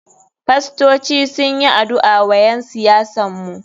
Fastoci sunyi adu'a wa ƴen siyasan mu.